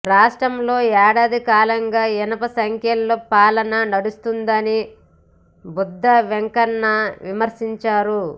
రాష్ట్రంలో ఏడాదికాలంగా ఇనుప సంకెళ్ల పాలన నడుస్తోందని బుద్ధా వెంకన్న విమర్శించారు